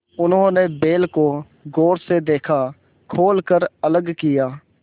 उन्होंने बैल को गौर से देखा खोल कर अलग किया